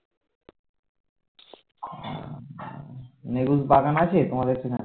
নেবুর বাগান আছে তোমাদের সেখানে